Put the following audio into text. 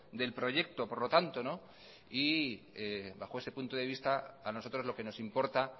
del proyecto por lo tanto y bajo ese punto de vista a nosotros lo que nos importa